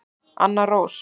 Anna Rós.